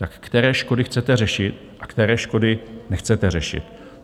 Tak které škody chcete řešit a které škody nechcete řešit?